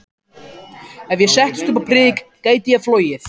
Ef ég settist upp á prik gæti ég flogið.